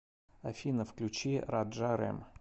афина включи раджа рэм